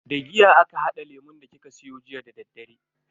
Da giya aka hada lemun da kika siyo jiya dadaddare.